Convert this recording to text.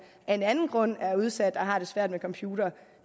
af en anden grund er udsat og har det svært med computere